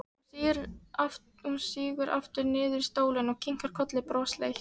Hún sígur aftur niður í stólinn og kinkar kolli brosleit.